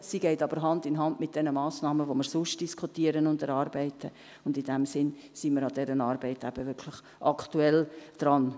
Sie geht aber Hand in Hand mit den Massnahmen, die wir sonst diskutieren und erarbeiten, und in diesem Sinn sind wir an dieser Arbeit eben wirklich aktuell dran.